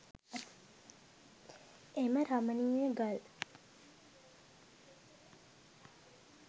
එම රමණීය ගල්